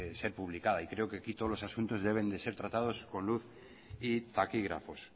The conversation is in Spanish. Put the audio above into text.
ser publicada y creo que aquí todos los asuntos deben de ser tratados con luz y taquígrafos